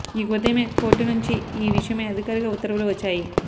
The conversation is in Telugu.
ఇక ఈ ఉదయమే కోర్టు నుంచి ఈ విషయమై అధికారిక ఉత్తర్వులు వచ్చాయి